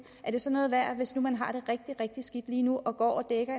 er den så noget værd hvis man har det rigtig rigtig skidt lige lige nu og går og dækker